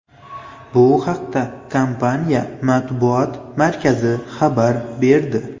Bu haqda kompaniya matbuot markazi xabar berdi .